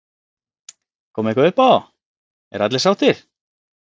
Kom eitthvað uppá, eru allir sáttir?